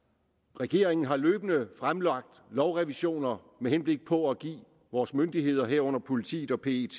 regeringen har løbende fremlagt lovrevisioner med henblik på at give vores myndigheder herunder politiet og pet